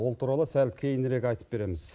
ол туралы сәл кейінірек айтып береміз